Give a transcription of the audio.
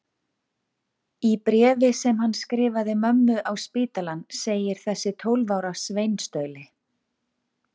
Í bréfi sem hann skrifaði mömmu á spítalann segir þessi tólf ára sveinstauli